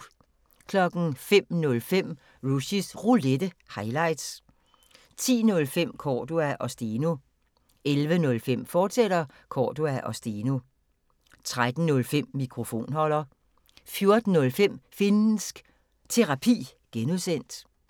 05:05: Rushys Roulette – highlights 10:05: Cordua & Steno 11:05: Cordua & Steno, fortsat 13:05: Mikrofonholder 14:05: Finnsk Terapi (G)